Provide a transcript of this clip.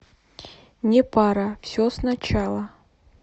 непара все сначала